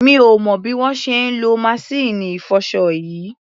Mi ò mọ̀ bí wọ́n ṣe ń lo maṣíìnì ìfọṣọ yìí.